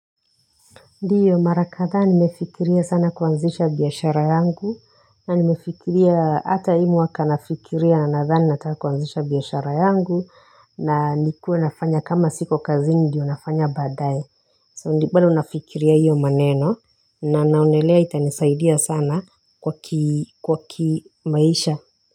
Ndiyo mara kadhaa nimefikiria sana kuanzisha biashara yangu na nimefikiria hata hi mwaka nafikiria nadhani nataka kuanzisha biashara yangu na nikuwe nafanya kama siko kazini ndiyo nafanya baadaye so bado nafikiria hiyo maneno na naonelea itanisaidia sana kwa kimaisha.